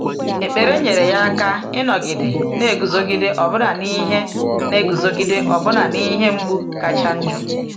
Ekpere nyere ya aka ịnọgide na-eguzogide ọbụna n’ihe na-eguzogide ọbụna n’ihe mgbu kacha njọ.